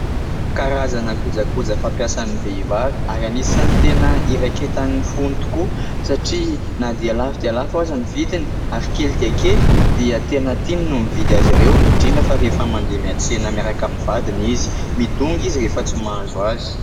Karazana koja koja fampiasan'ny vehivavy ary an'isany tena iraiketan'ny fony tokoa satria na dia lafo dia lafo aza ny vidiny ary kely dia kely, dia tena tiany no mividy azy ireo . Indrindra fa rehefa mandeha miantsena miaraka amin'ny vadiny izy, midongy izy rehefa tsy mahazo azy.